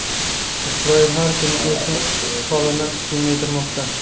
Isroil har kuni o‘z ishg‘olini kengaytirmoqda.